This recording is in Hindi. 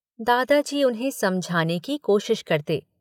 दादाजी उन्हें समझाने की कोशिश करते।